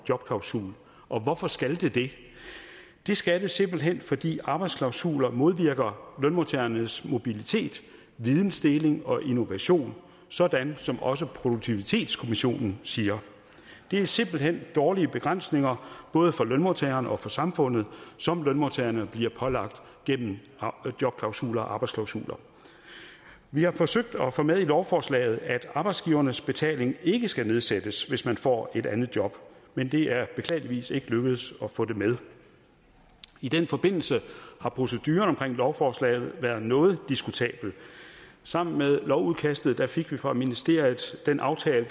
jobklausul og hvorfor skal det det det skal det simpelt hen fordi arbejdsklausuler modvirker lønmodtagernes mobilitet videndeling og innovation sådan som også produktivitetskommissionen siger det er simpelt hen dårlige begrænsninger både for lønmodtagerne og for samfundet som lønmodtagerne bliver pålagt gennem jobklausuler og arbejdsklausuler vi har forsøgt at få med i lovforslaget at arbejdsgivernes betaling ikke skal nedsættes hvis man får et andet job men det er beklageligvis ikke lykkedes at få det med i den forbindelse har proceduren omkring lovforslaget været noget diskutabel sammen med lovudkastet fik vi fra ministeriet den aftale